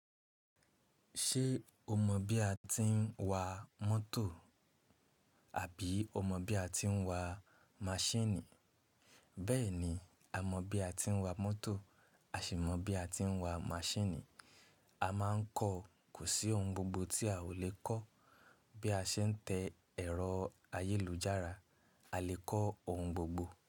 Ṣé o mọ̀ bí a ti ń wa mótò àbí o mọ̀ bí a ti ń wa maṣíìnì? Bẹ́ẹ̀ni, a mọ̀ bí a ti ń wa mótò, a sì mọ̀ bí a ti ń wa maṣíìnì. A máa ń kọ́, kò sí ohun gbogbo tí a ò lè kọ́. Bí a ṣe ń tẹ́ ẹ̀rọ ayélujára, a lè kọ́ ohun gbogbo.